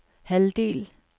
halvdel